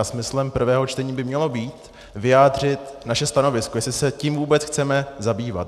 A smyslem prvého čtení by mělo být vyjádřit naše stanovisko, jestli se tím vůbec chceme zabývat.